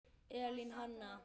Elín Hanna.